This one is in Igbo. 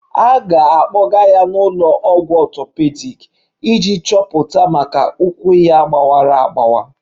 A ga-akpọga ya n'ụlọ ọgwụ ọtọpedic iji chọpụta ma ụkwụ ya gbawara agbawa